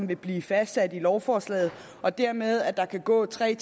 vil blive fastsat i lovforslaget og dermed at der kan gå tre